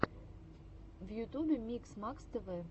в ютубе микс макс тв